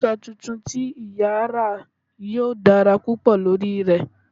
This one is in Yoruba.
Aṣọ tuntun tí ìyà ra yóò dára púpọ̀ lórí rẹ̀